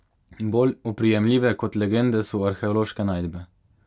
Bolj oprijemljive kot legende so arheološke najdbe.